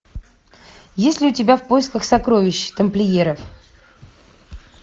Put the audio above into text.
есть ли у тебя в поисках сокровищ тамплиеров